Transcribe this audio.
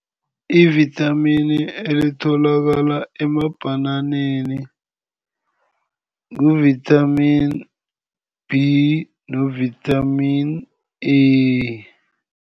Ivithamini elitholakala emabhananeni ngu-vithamini B no-vithamini A.